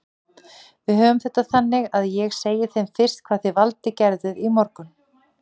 Við höfum þetta þannig að ég segi þeim fyrst hvað þið Valdi gerðuð í morgun.